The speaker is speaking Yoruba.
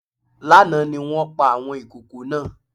Lánàá ni wọ́n pa àwọn ìkokò náà